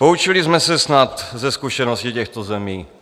Poučili jsme se snad ze zkušenosti těchto zemí?